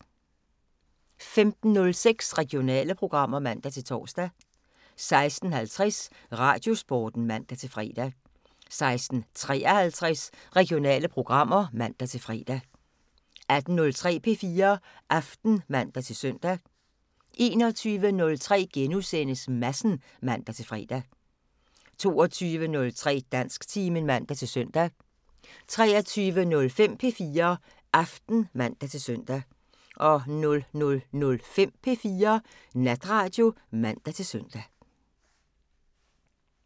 15:06: Regionale programmer (man-tor) 16:50: Radiosporten (man-fre) 16:53: Regionale programmer (man-fre) 18:03: P4 Aften (man-søn) 21:03: Madsen *(man-fre) 22:03: Dansktimen (man-søn) 23:05: P4 Aften (man-søn) 00:05: P4 Natradio (man-søn)